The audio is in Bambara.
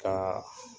Ka